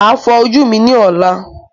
Màá fọ ojú mi ní ọlá.